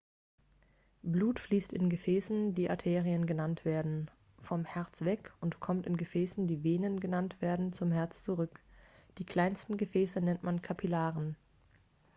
blut fließt in gefäßen die arterien genannt werden vom herz weg und kommt in gefäßen die venen genannt werden zum herz zurück die kleinsten gefäße nennt man kapillaren